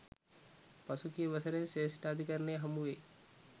පසුගිය වසරේ ශ්‍රේෂ්ඨාධිකරණය හමුවේ